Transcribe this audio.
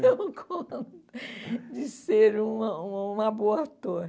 Não deu conta de ser uma uma uma boa ator.